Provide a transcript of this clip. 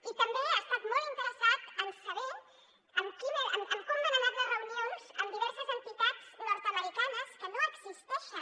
i també ha estat molt interessat en saber com han anat les reunions amb diverses entitats nord americanes que no existeixen